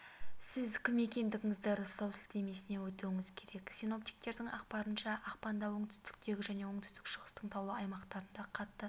сіз кім екендігіңізді растау сілтемесіне өтуіңіз керек синоптиктердің ақпарынша ақпанда оңтүстіктегі және оңтүстік-шығыстағы таулы аймақтарда қатты